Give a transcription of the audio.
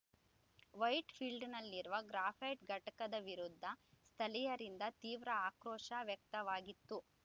ವೈಟ್‌ಫೀಲ್ಡ್‌ನಲ್ಲಿರುವ graphite ಘಟಕದ ವಿರುದ್ಧ ಸ್ಥಳೀಯರಿಂದ ತೀವ್ರ ಆಕ್ರೋಶ ವ್ಯಕ್ತವಾಗಿತ್ತು